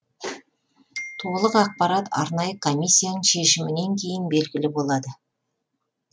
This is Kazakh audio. толық ақпарат арнайы комиссияның шешімінен кейін белгілі болады